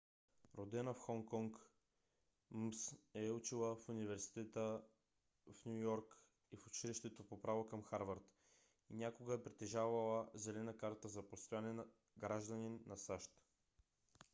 родена в хонг конг мс е учила в университета в ню йорк и в училището по право към харвард и някога е притежавала зелена карта за постоянен гражданин на сащ